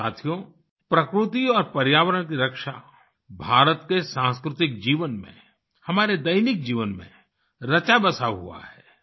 साथियो प्रकृति और पर्यावरण की रक्षा भारत के सांस्कृतिक जीवन में हमारे दैनिक जीवन में रचा बसा हुआ है